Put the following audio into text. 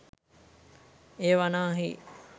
එය වනාහි